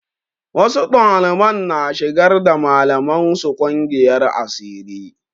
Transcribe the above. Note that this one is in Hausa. Wasu ɗaliban na shigar da malaman su ƙungiyar asiri.